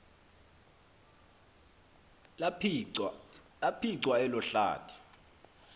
laphicwa elo hlathi